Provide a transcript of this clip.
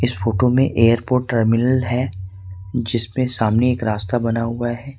इस फोटो में airport terminal है जिसमें सामने एक रास्ता बना हुआ हैं।